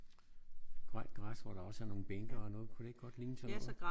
Grønt græs hvor der også er nogle bænke og noget. Kunne det ikke godt ligne sådan noget?